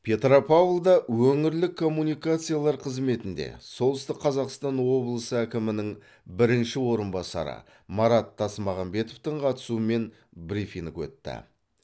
петропавлда өңірлік коммуникациялар қызметінде солтүстік қазақстан облысы әкімінің бірінші орынбасары марат тасмағанбетовтің қатысуымен брифинг өтті